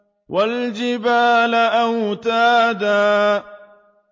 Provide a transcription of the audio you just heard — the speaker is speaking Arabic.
وَالْجِبَالَ أَوْتَادًا